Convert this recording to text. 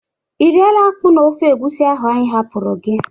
Ị rịela akpụ na ofe egwusi ahụ anyị hapụrụ gị?